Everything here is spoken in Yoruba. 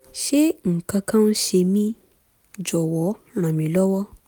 ṣé nǹkan kan ń ṣe mí? jọ̀wọ́ ràn mí lọ́wọ́